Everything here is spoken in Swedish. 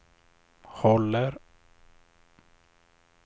håller